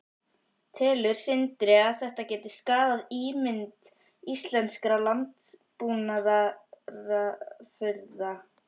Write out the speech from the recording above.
Telur Sindri að þetta geti skaðað ímynd íslenskra landbúnaðarafurða?